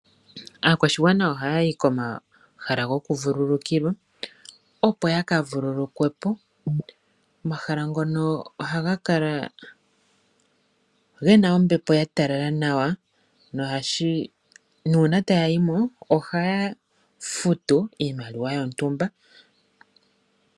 Aakwashigwana oha yayi komahala goku vululukilwa opo ya ka vululuke po. Omahala ngono ohaga kala gena ombepo ya talala nawa no hashi. Nuuna taya yimo ohaya futu iimaliwa yontumba.